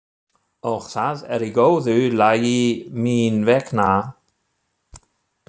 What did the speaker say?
Og það er í góðu lagi mín vegna.